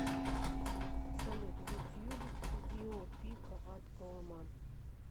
салют ютьюб гио пика ад колыма